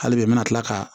Hali bi n bɛna tila ka